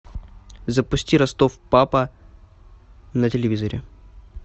запусти ростов папа на телевизоре